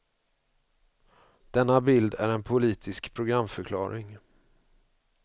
Denna bild är en politisk programförklaring.